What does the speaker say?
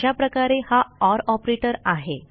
अशाप्रकारे हा OR operator आहे